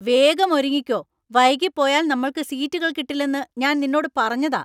വേഗം ഒരുങ്ങിക്കോ ! വൈകി പോയാൽ നമ്മൾക്ക് സീറ്റുകൾ കിട്ടില്ലെന്ന് ഞാൻ നിന്നൊട് പറഞ്ഞതാ.